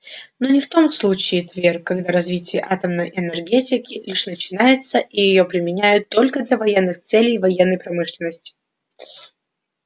но не в том случае твер когда развитие атомной энергетики лишь начинается и её применяют только для военных целей в военной промышленности